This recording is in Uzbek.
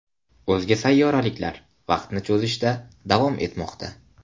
O‘zga sayyoraliklar vaqtni cho‘zishda davom etmoqda.